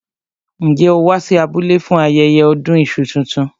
Njẹ́ ó wá sí abúlé fún ayẹyẹ ọdún iṣu tuntun?